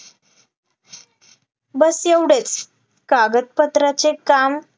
बस एवढेच कागदपत्राचे काम